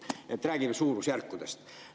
Nii et räägime suurusjärkudest.